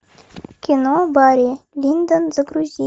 кино барри линдон загрузи